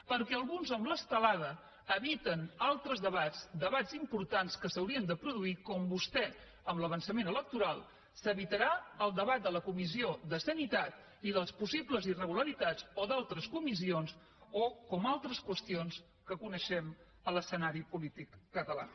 perquè alguns amb l’estelada eviten altres debats debats importants que s’haurien de produir com vostè amb l’avançament electoral que s’evitarà el debat de la comissió de salut i de les possibles irregularitats o d’altres comissions o com altres qüestions que coneixem en l’escenari polític català